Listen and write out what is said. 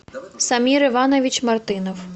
самир иванович мартынов